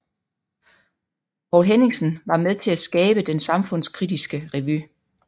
Poul Henningsen var med til at skabe den samfundskritiske revy